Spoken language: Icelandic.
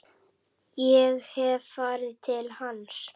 Ég hef farið til hans.